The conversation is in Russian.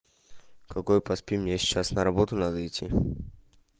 какой поспим мне сейчас на работу надо идти